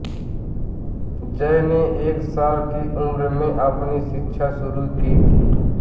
Joy ने एक साल की उम्र में अपनी शिक्षा शुरू की थी